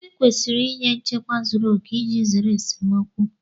Ekwesịrị ịnye nchekwa zuru oke iji zere esemokwu